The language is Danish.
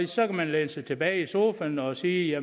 så kan man læne sig tilbage i sofaen og sige